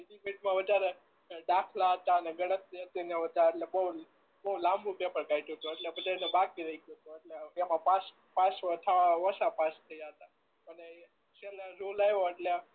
બીજી વધારે દાખલા હતા ને ગણતરી હતી ને એવા હતા એટલે બહું લાંબુ પેપર કાઢ્યું તું એટલે બધા ને બાકી રહી ગયું હતું એટલે એમાં પાસ થવા ઓછા પાસ થયા થા અને છેલ્લે રુલ આવ્યો એટલે